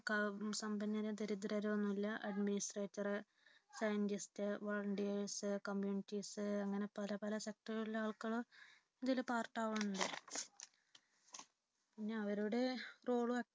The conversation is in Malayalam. സമ്പന്നരോ ദരിദ്രരോ എന്നില്ല AdministratorScientistVolunteersCommunities അങ്ങനെ പലപല sector കളിലെ ആളുകളും ഇതിൽ part ആകുന്നുണ്ട്. പിന്നെ അവരുടെ role